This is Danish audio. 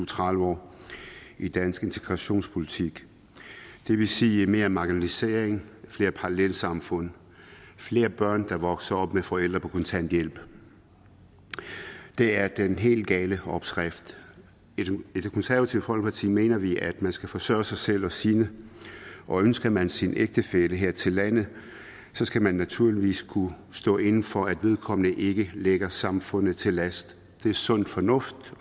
tredive år i dansk integrationspolitik det vil sige mere marginalisering flere parallelsamfund og flere børn der vokser op med forældre på kontanthjælp det er den helt gale opskrift i det konservative folkeparti mener vi at man skal forsørge sig selv og sine og ønsker man sin ægtefælle her til landet skal man naturligvis kunne stå inde for at vedkommende ikke ligger samfundet til last det er sund fornuft